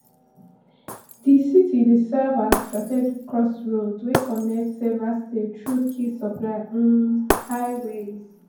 di city dey serve as strategic crossroads wey connect several states through key supply um highways